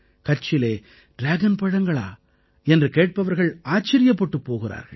கட்சிலே dragon பழங்களா என்று கேட்பவர்கள் ஆச்சரியப்பட்டுப் போகிறார்கள்